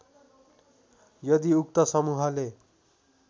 यदि उक्त समूहले